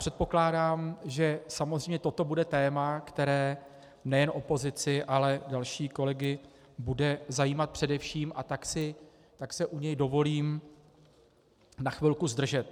Předpokládám, že samozřejmě toto bude téma, které nejen opozici, ale další kolegy bude zajímat především, a tak se u něj dovolím na chvilku zdržet.